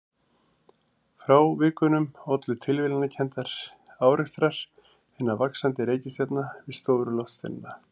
Frávikunum ollu tilviljanakenndir árekstrar hinna vaxandi reikistjarna við stóra loftsteina.